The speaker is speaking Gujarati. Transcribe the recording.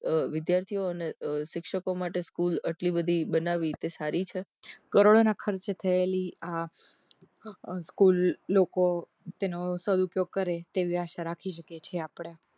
અહહ વિદ્યાર્થીઓ અને શિક્ષકો માટે સ્કૂલ આટલી બધી બનાવી તે સારી છે કરોડો ના ખર્ચે થયેલી આહ આ સ્કૂલ લોકો તેનો સદઉપયોગ કરે તેવી આશા રાખી શકીએ છીએ આપડે